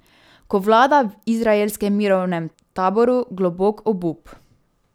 Ko vlada v izraelskem mirovnem taboru globok obup?